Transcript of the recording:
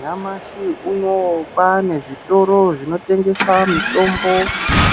Nyamashi unouyu kwane zvitoro zvinotengesa mitombo,